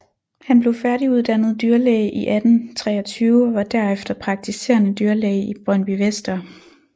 Han blev færdiguddannet dyrlæge i 1823 og var derefter praktiserende dyrlæge i Brøndbyvester